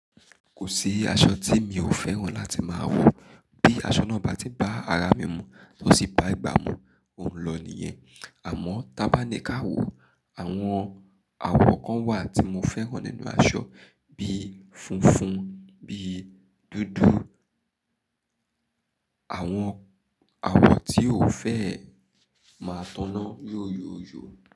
Kò sí aṣọ tí mi ò fẹ́ràn láti máa wọ̀, bí aṣọ náà bá ti bá ara mi mu, tó sì bá ìgbà mu, òun lọ nìyẹn. Àmọ́ tàbí ká wò, àwọn àwọ̀ kan wà tí mo fẹ́ràn nínú aṣọ bí funfun, bí dúdú, àwọn àwọ̀ tí ò fẹ́ ẹ máa taná yóyòyò.